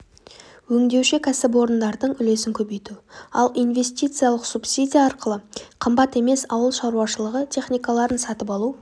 өңдеуші кәсіпорындардың үлесін көбейту ал инвестициялық субсидия арқылы қымбат емес ауыл шаруашылығы техникаларын сатып алу